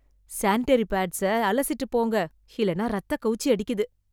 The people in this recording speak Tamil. சானிட்டரி பேட்ஸ்ஐ அலசிட்டு போடுங்க இல்லைனா இரத்த கவுச்சி அடிக்கிது